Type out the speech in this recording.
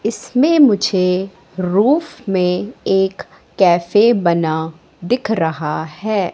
इसमें मुझे रूफ में एक कैफे बना दिख रहा है।